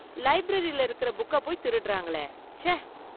லைப்ரரில இருக்கற புக்க போய் திருடறாங்களே, ச்ச!.